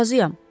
Razıyam.